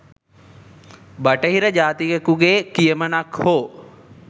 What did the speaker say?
බටහිර ජාතිකයකු ගේ කියමනක් හෝ